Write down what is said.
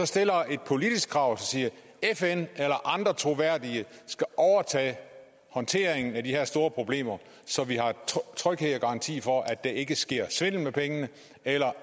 stiller et politisk krav og siger at fn eller andre troværdige skal overtage håndteringen af de her store problemer så vi har tryghed og garanti for at der ikke sker svindel med pengene eller